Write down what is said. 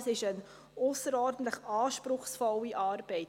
Das ist eine ausserordentlich anspruchsvolle Arbeit.